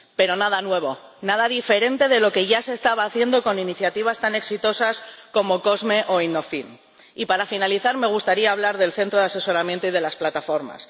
Pero nada nuevo, nada diferente de lo que ya se estaba haciendo con iniciativas tan exitosas como COSME o InnovFin. Y para finalizar, me gustaría hablar del centro de asesoramiento y de las plataformas.